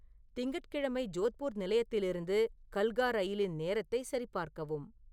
திங்கட்கிழமை ஜோத்பூர் நிலையத்திலிருந்து கல்கா ரயிலின் நேரத்தைச் சரிபார்க்கவும்